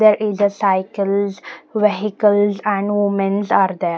There is a cycles vehicles and women's are there.